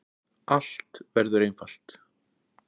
Allt verður einfalt.